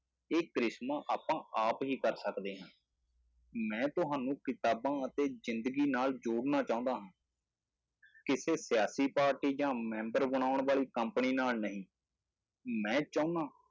ਇਹ ਕਰਿਸ਼ਮਾ ਆਪਾਂ ਆਪ ਹੀ ਕਰ ਸਕਦੇ ਹਾਂ, ਮੈਂ ਤੁਹਾਨੂੰ ਕਿਤਾਬਾਂ ਅਤੇ ਜ਼ਿੰਦਗੀ ਨਾਲ ਜੋੜਨਾ ਚਾਹੁੰਦਾ ਹਾਂ ਕਿਸੇ ਸਿਆਸੀ ਪਾਰਟੀ ਜਾਂ ਮੈਂਬਰ ਬਣਾਉਣ ਵਾਲੀ company ਨਾਲ ਨਹੀਂ ਮੈਂ ਚਾਹੁੰਦਾ,